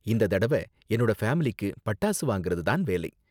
இந்த தடவ என்னோட ஃபேமிலிக்கு பட்டாசு வாங்கறது தான் வேலை.